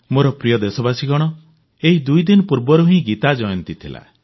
ମୋର ପ୍ରିୟ ଦେଶବାସୀଗଣ ଏଇ ଦୁଇଦିନ ପୂର୍ବରୁ ହିଁ ଗୀତା ଜୟନ୍ତୀ ଥିଲା